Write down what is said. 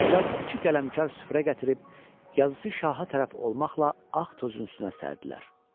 Qızlar iki qələmkarlı süfrə gətirib, yazısı şaha tərəf olmaqla ağ tozun üstünə sərdilər.